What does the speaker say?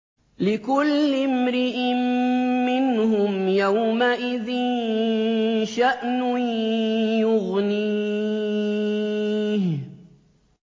لِكُلِّ امْرِئٍ مِّنْهُمْ يَوْمَئِذٍ شَأْنٌ يُغْنِيهِ